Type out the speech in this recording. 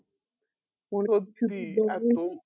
load free একদম